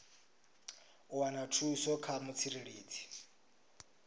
u wana thuso kha mutsireledzi